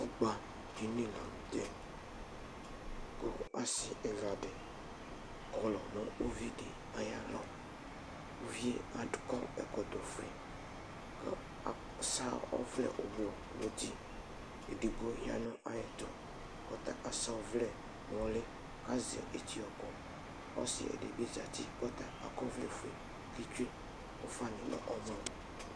Ɔgbaɖini la nutɛ Ku asi ɛla ɖi kɔlu nu uvi di ayu alɔUvie aɖu kɔ ɛkɔtɔ ofue, ku asa ɔwlɛ ugblu nu ũtí Eɖigbo ya nu ayɛtu, ku ɔta asa ɔwlɛ nu uli Asɛ etiokɔ Ɔsiɖi bi zãti ku ɔta akɔ ɔwlɛ fue, ku etsue ufã nu ɔmɔ